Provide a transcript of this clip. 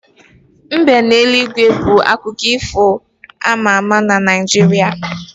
Mbe n'eluigwe bu otu n'ime akụkọ ifo ama ama na Naijiria